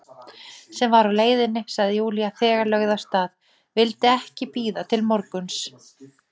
Sem var á leiðinni, sagði Júlía, þegar lögð af stað, vildi ekki bíða morguns.